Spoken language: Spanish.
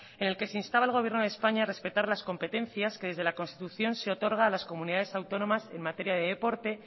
en el que se instaba al gobierno de españa a respetar las competencias que desde la constitución se otorga a las comunidades autónomas en materia de deporte